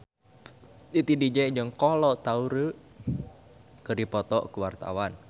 Titi DJ jeung Kolo Taure keur dipoto ku wartawan